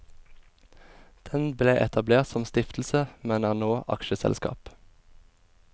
Den ble etablert som stiftelse, men er nå aksjeselskap.